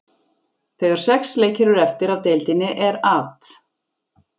Þegar sex leikir eru eftir af deildinni er At.